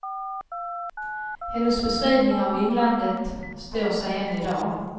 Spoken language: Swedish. Hennes beskrivning av inlandet står sig än i dag.